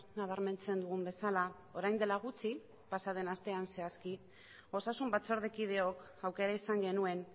nabarmentzen dugun bezala orain dela gutxi pasa den astean zehazki osasun batzordekideok aukera izan genuen